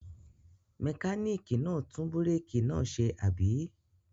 Mẹkáníkì náà tún búrékì náà ṣe, àbí?